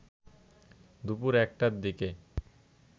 দুপুর ১টার দিকে